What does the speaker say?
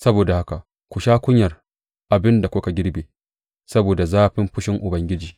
Saboda haka ku sha kunyar abin da kuka girbe saboda zafin fushin Ubangiji.